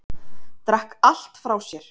Drakk allt frá sér.